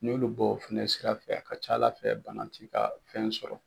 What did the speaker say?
N'olu bɔ o fana sira fɛ a ka ca Ala fɛ bana t'i ka fɛn sɔrɔ